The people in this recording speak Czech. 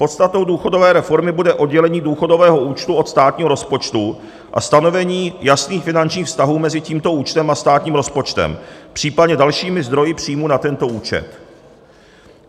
Podstatou důchodové reformy bude oddělení důchodového účtu od státního rozpočtu a stanovení jasných finančních vztahů mezi tímto účtem a státním rozpočtem, případně dalšími zdroji příjmů na tento účet.